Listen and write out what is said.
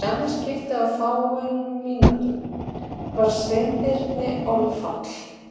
Í annað skiptið á fáeinum mínútum varð Sveinbirni orðfall.